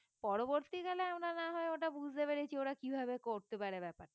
পরবর্তীকালে আমরা না হয় ওটা বুঝতে পেরেছি ওরা কিভাবে করতে পারে ব্যাপারটা